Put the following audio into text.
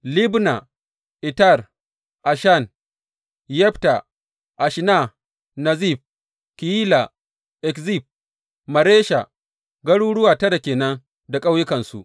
Libna, Eter, Ashan, Yefta, Ashna, Nezib, Keyila, Akzib, Maresha, garuruwa tara ke nan da ƙauyukansu.